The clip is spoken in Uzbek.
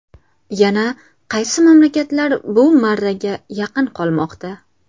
Yana qaysi mamlakatlar bu marraga yaqin qolmoqda?.